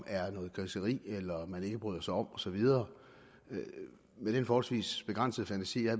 er noget griseri eller noget man ikke bryder sig om og så videre med den forholdsvis begrænsede fantasi jeg